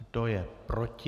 Kdo je proti?